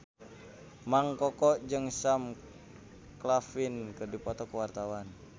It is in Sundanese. Mang Koko jeung Sam Claflin keur dipoto ku wartawan